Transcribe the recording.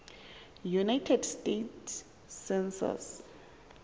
united states census